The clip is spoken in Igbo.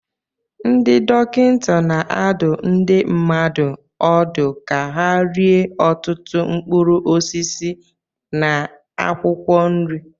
Ndị dọkịta na-adụ ndị mmadụ ọdụ ka ha rie ọtụtụ mkpụrụ osisi na akwụkwọ nri